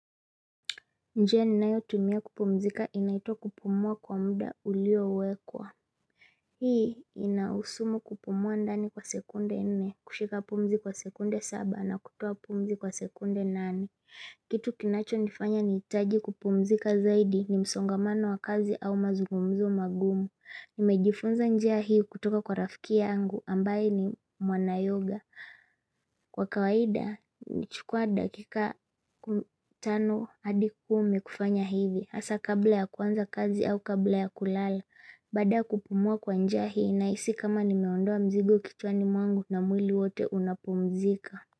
Njia ninayo tumia kupumzika inaitwa kupumua kwa mda ulio wekwa. Hii inahusu kupumua ndani kwa sekunde nne, kushika pumzi kwa sekunde saba na kutuoa pumzi kwa sekunde nane. Kitu kinacho nifanya nihitaji kupumzika zaidi ni msongamano wa kazi au mazungumzo magumu. Nimejifunza njia hii kutoka kwa rafiki yangu ambaye ni mwana yoga. Kwa kawaida, nachukua dakika tano hadi kumi kufanya hivi hasa kabla ya kuanza kazi au kabla ya kulala Baada ya kupumua kwa njia hii nahisi kama nimeondoa mzigo kichwani mwangu na mwili wote unapumzika.